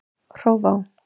Hrófá